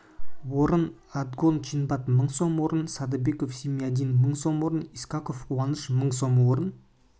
орын отгон чинбат мың сом орын садыбеков зиямидин мың сом орын искаков куаныш мың сом орын